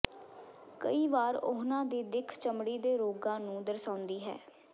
ਕਈ ਵਾਰ ਉਨ੍ਹਾਂ ਦੀ ਦਿੱਖ ਚਮੜੀ ਦੇ ਰੋਗਾਂ ਨੂੰ ਦਰਸਾਉਂਦੀ ਹੈ